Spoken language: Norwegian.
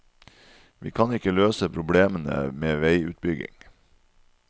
Vi kan ikke løse problemene med veiutbygging.